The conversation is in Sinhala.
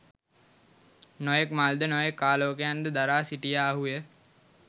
නොයෙක් මල් ද නොයෙක් ආලෝකයන් ද දරා සිටියාහු ය